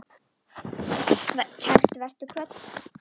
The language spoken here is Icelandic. Kært vertu kvödd.